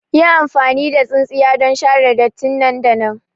Yi amfani da tsintsiya don share datti nan da nan!